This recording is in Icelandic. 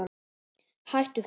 Hættu þessu